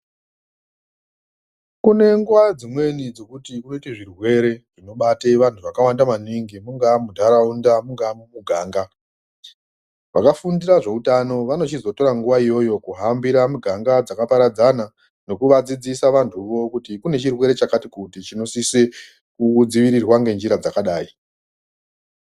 Kune nguwa dzimweni dzekuti zvirwere zvinobate antu akawanda maningi mungaa muntaraunda mungaa mumuganga vakafundira zveutano vanochizotora nguwa iyoyo kuhambira muganga dzakaparadzana nekuvadzidzisa vantuvo kuti kune chirwere chakati kuti chinosise kudzivirirwa ngenjira dzakadai..